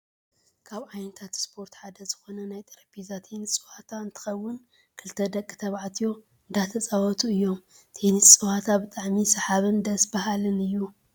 ካብ ዓይነታት ስፖርት ሓደ ዝኮነ ናይ ጠረጴዛ ቴኒስ ፀወታ እንትከውን፣ ክልተ ደቂ ተባዕትዮ እንዳተፃወቱ እዮም። ቴኒስ ፀወታ ብጣዕሚ ሳሓብን ደስ ባሃልን እዩ።